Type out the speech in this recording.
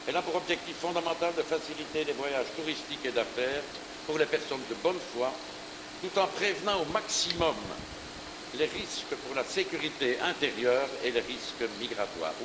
Elle a pour objectif fondamental de faciliter les voyages touristiques et d'affaires pour les personnes de bonne foi, tout en prévenant au maximum les risques pour la sécurité intérieure et le risque migratoire.